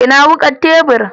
Ina wukar tebur?